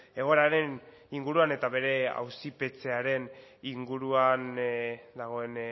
egoeraren inguruan eta bere auzipetzearen inguruan dagoen